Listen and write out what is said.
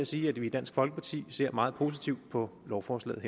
sige at vi i dansk folkeparti ser meget positivt på lovforslaget